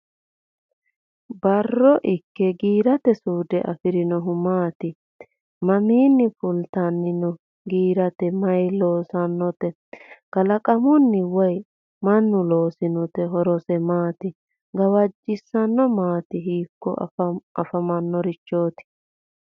Barro ikke giirate suude afironohu maati? Mamiinni fultanni noo giiraati? Mayi loosinote? kalaqammunni woy mannu loosinte? Horose maati? Gawajjosena maati? Hiikko afamannorichooti?